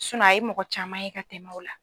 a ye mɔgɔ caman ye ka tɛmɛn u la.